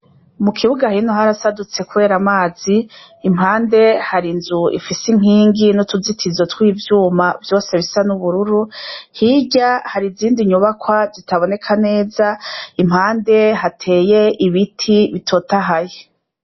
Mu kibuga hino harasadutse, kubera amazi impande hari inzu ifise inkingi n'utuzitizo tw'ivyuma vyose bisa n'ubururu hirya hari izindi nyubakwa zitaboneka neza impande hateye ibiti bitotahaye.